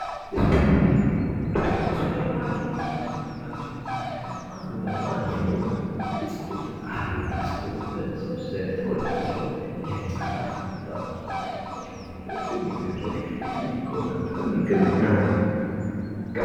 የሱፐር ማርኬት ምርቶች የሱፐር ማርኬት ምርቶች ከምንላቸው አንዱና ዋነኛው ብስኩት አሉ። ብስኩት በሰዎች ዘንድ ተወዳጅ ሲሆን ለህፃናት ለአዋቂዎች ለሽማግሌዎች የሚደረግ የሚቆረጠም ምግብ ነው።